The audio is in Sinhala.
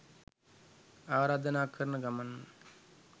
ආරාධනා කරන ගමන්ම